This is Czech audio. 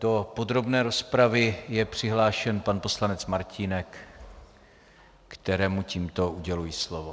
Do podrobné rozpravy je přihlášen pan poslanec Martínek, kterému tímto uděluji slovo.